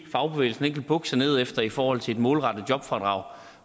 fagbevægelsen ikke vil bukke sig ned efter i forhold til det målrettede jobfradrag